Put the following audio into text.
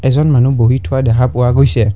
কিছুমান মানুহ বহি থোৱা দেখা পোৱা গৈছে।